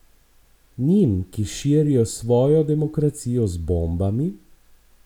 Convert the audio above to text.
Njim, ki širijo svojo demokracijo z bombami?